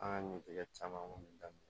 An ka ɲɛtigɛ caman kɔni daminɛ